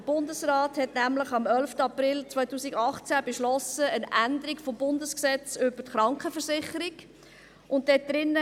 Der Bundesrat hat nämlich am 11. April 2018 eine Änderung des Bundesgesetzes über die Krankenversicherung (KVG) beschlossen.